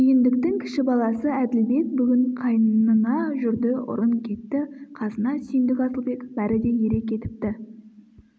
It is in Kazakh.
сүйіндіктің кіші баласы әділбек бүгін қайнына жүрді ұрын кетті қасына сүйіндік асылбек бәрі де ере кетіпті